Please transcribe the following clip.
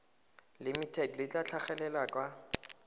limited le tla tlhagelela kwa